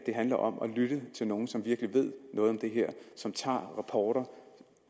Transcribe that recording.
handler om at lytte til nogen som virkelig ved noget om det her og som tager rapporter